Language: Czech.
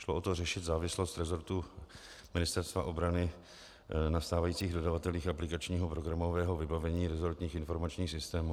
Šlo o to řešit závislost rezortu Ministerstva obrany na stávajících dodavatelích aplikačního programového vybavení rezortních informačních systémů.